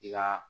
I ka